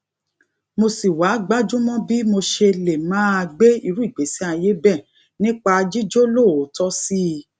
mo sì wá gbájú mó bí mo ṣe lè máa gbé irú igbésí ayé bẹẹ nípa jíjólóòótọ sí i